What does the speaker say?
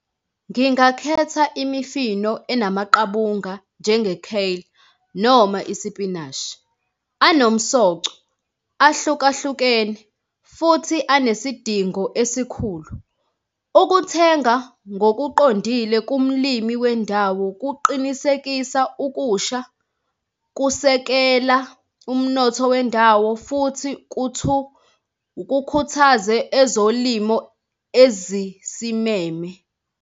Ngingakhetha imifino enamaqabunga njenge-kale noma isipinashi. Anomsoco, ahlukahlukene, futhi anesidingo esikhulu. Ukuthenga ngokuqondile kumlimi wendawo kuqinisekisa ukusha, kusekela umnotho wendawo, futhi ukukhuthaze ezolimo ezisimeme.